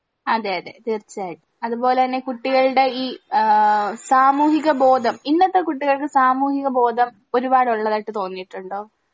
അതെ അതെ തീർച്ചായിട്ടും അതുപോലെന്നെ കുട്ടികൾടെ ഈ ആ സാമൂഹിക ബോധം ഇന്നത്തെ കുട്ടികൾക്ക് സാമൂഹിക ബോധം ഒരുപാട് ഉള്ളതായിട്ട് തോന്നീട്ടുണ്ടോ